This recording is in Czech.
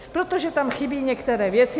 Protože tam chybí nějaké věci.